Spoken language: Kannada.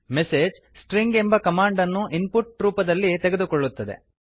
ಮೆಸೇಜ್ stringಎಂಬ ಕಮಾಂಡ್ ಅನ್ನು ಇನ್ ಪುಟ್ ರೂಪದಲ್ಲಿ ತೆಗೆದುಕೊಳ್ಳುತ್ತದೆ